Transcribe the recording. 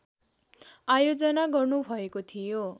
आयोजना गर्नुभएको थियो